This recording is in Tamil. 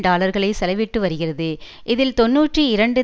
டாலர்களை செலவிட்டு வருகிறது இதில் தொன்னூற்றி இரண்டு